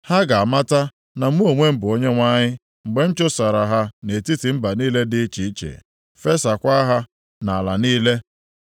“Ha ga-amata na mụ onwe m bụ Onyenwe anyị, mgbe m chụsachara ha nʼetiti mba niile dị iche iche, fesaakwa ha nʼala niile.